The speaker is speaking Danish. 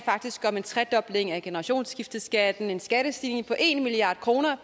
faktisk om en tredobling af generationsskifteskatten en skattestigning på en milliard kroner